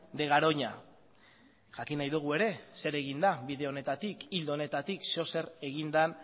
de garoña jakin nahi dugu ere zer egin da bide honetatik ildo honetatik zer edo zer egin den